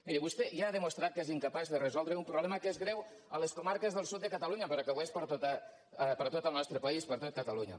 miri vostè ja ha demostrat que és incapaç de resoldre un problema que és greu a les comarques del sud de catalunya però que ho és per a tot el nostre país per a tot catalunya